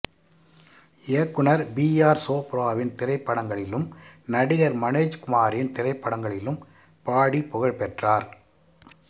இயக்குனர் B R சோப்ராவின் திரைப்படங்களிலும் நடிகர் மனோஜ் குமாரின் திரைப்படங்களிலும் பாடிப் புகழ்பெற்றார்